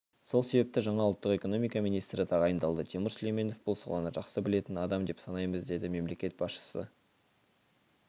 сол себепті жаңа ұлттық экономика министрі тағайындалды тимур сүлейменов бұл саланы жақсы білетін адам деп санаймыз деді мемлекет басшысы